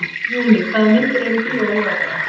Júní, hvaða myndir eru í bíó á laugardaginn?